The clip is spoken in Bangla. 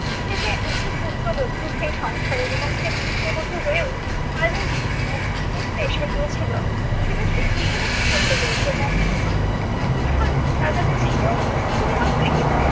সে যে একজন পুত্রবধূ সে সংসারের এবং সে পুত্রবধূ হয়েও তার মধ্যে যে অহংবোধ টা এসে গিয়েছিল সেটা সে উপলব্ধি করতে পেরেছে, মহেন্দ্রর আকর্ষণ তার কাছে ছিল শুধু মাত্র এটাই